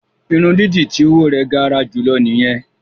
Irun dídì ti owo rẹ gara julọ nìyẹn.